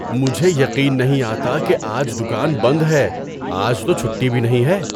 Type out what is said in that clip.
مجھے یقین نہیں آتا کہ آج دکان بند ہے! آج تو چھٹی بھی نہیں ہے۔